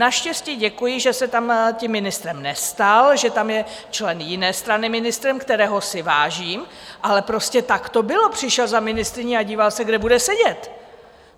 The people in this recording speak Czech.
Naštěstí děkuji, že se tam tím ministrem nestal, že tam je člen jiné strany ministrem, kterého si vážím, ale prostě tak to bylo - přišel za ministryní a díval se, kde bude sedět!